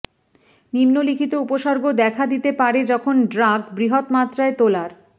নিম্নলিখিত উপসর্গ দেখা দিতে পারে যখন ড্রাগ বৃহৎ মাত্রায় তোলার